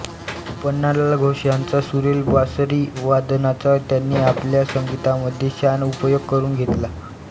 पन्नालाल घोष यांच्या सुरेल बासरीवादनाचा त्यांनी आपल्या संगीतामध्ये छान उपयोग करून घेतला